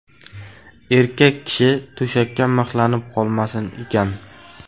Erkak kishi to‘shakka mixlanib qolmasin ekan.